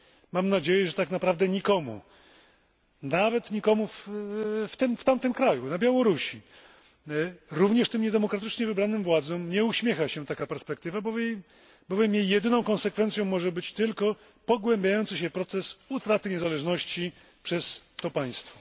Mam nadzieję, że tak naprawdę nikomu nawet nikomu w tamtym kraju, na Białorusi, również tym niedemokratycznie wybranym władzom nie uśmiecha się taka perspektywa, bowiem jej jedyną konsekwencją może być tylko pogłębiający się proces utraty niezależności przez to państwo.